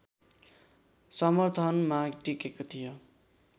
समर्थनमा टिकेको थियो